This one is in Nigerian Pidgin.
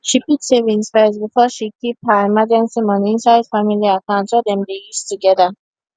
she put saving first before she keep her emergency money inside family account wey dem dey use together